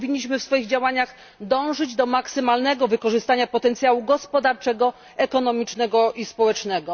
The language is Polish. Powinniśmy w swoich działaniach dążyć do maksymalnego wykorzystania potencjału gospodarczego, ekonomicznego i społecznego.